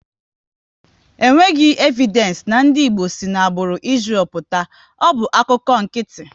E nweghị evidenci na ndị Igbo si n'agbụrụ Israël pụta, ọ bụ akụkọ nkịtị